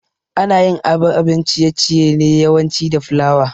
Anayin ababen ciye ciye ne yawanci da flour